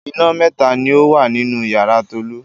Iná mẹ́ta ni ó wá nínú ìyàrá Tolú.